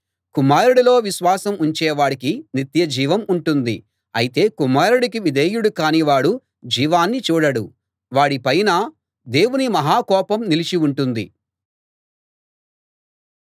కుమారుడిలో విశ్వాసం ఉంచేవాడికి నిత్యజీవం ఉంటుంది అయితే కుమారుడికి విధేయుడు కాని వాడు జీవాన్ని చూడడు వాడి పైన దేవుని మహా కోపం నిలిచి ఉంటుంది